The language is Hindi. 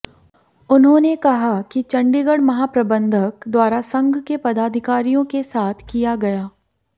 उन्होंने कहा कि चंडीगढ़ महाप्रबंधक द्वारा संघ के पदाधिकारियों के साथ किया गया